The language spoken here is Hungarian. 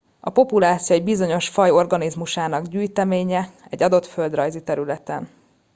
a populáció egy bizonyos faj organizmusainak gyűjteménye egy adott földrajzi területen